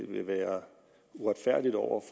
vil være uretfærdigt over